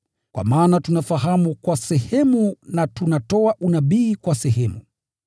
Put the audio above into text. Kwa maana tunafahamu kwa sehemu na tunatoa unabii kwa sehemu.